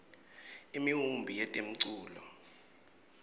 imiumbi yetemculo